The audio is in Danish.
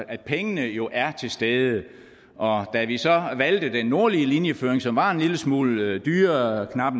at pengene jo er til stede og da vi så valgte den nordlige linjeføring som var en lille smule dyrere knap